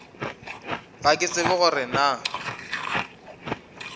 ga ke tsebe gore na